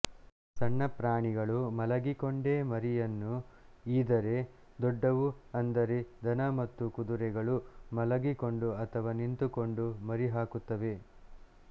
ಸಣ್ಣ ಪ್ರಾಣಿಗಳು ಮಲಗಿಕೊಂಡೇ ಮರಿಯನ್ನು ಈದರೆ ದೊಡ್ಡವು ಅಂದರೆ ದನ ಮತ್ತು ಕುದುರೆಗಳು ಮಲಗಿಕೊಂಡು ಅಥವಾ ನಿಂತುಕೊಂಡು ಮರಿ ಹಾಕುತ್ತವೆ